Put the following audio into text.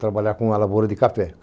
trabalhar com a lavoura de café.